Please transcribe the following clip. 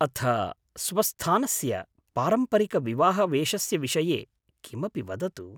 अथ स्वस्थानस्य पारम्परिकविवाहवेशस्य विषये किमपि वदतु।